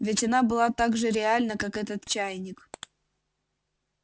ведь она была так же реальна как этот чайник